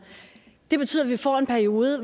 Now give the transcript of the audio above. det betyder at vi får en periode